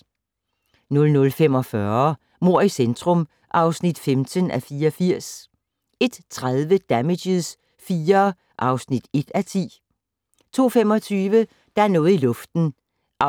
00:45: Mord i centrum (15:84) 01:30: Damages IV (1:10) 02:25: Der er noget i luften (212:320) 02:50: